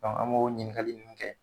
an b'o ɲininkali ninnu kɛ.